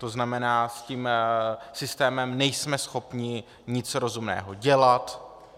To znamená, s tím systémem nejsme schopni nic rozumného dělat.